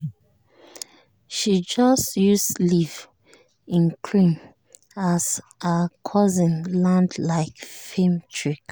she just use leave-in cream as her cousins land like film trick.